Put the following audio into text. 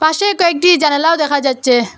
পাশে কয়েকটি জানালাও দেখা যাচ্চে।